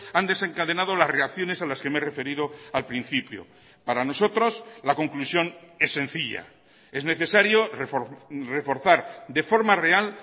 han desencadenado las reacciones a las que me he referido al principio para nosotros la conclusión es sencilla es necesario reforzar de forma real